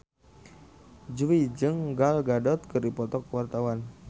Jui jeung Gal Gadot keur dipoto ku wartawan